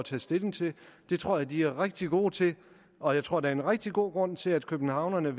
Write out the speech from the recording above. tage stilling til det tror jeg de er rigtig gode til og jeg tror der er en rigtig god grund til at københavnerne